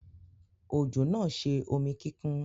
Òjò náà ṣe omi kíkún.